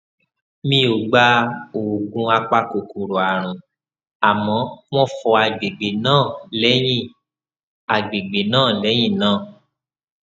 mi ò gba oògùn apakòkòrò àrùn àmọ wón fọ àgbègbè náà lẹyìn àgbègbè náà lẹyìn náà